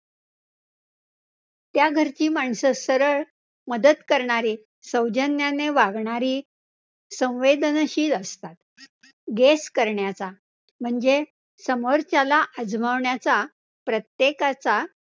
त्या घराची माणसं सरळ मदत करणारी, सौजन्याने वागणारी संवेदनशील असतात Guess करण्याचा म्हणजे समोरच्याला आजमावण्याचा प्रत्येकाचा